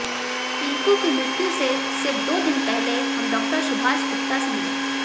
पिंकू की मृत्यु से सिर्फ़ दो दिन पहले हम डॉक्टर सुभाष गुप्ता से मिले